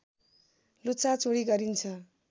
लुछाचुँडी गरिन्छ